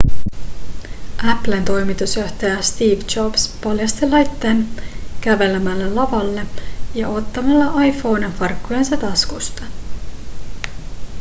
applen toimitusjohtaja steve jobs paljasti laitteen kävelemällä lavalle ja ottamalla iphonen farkkujensa taskusta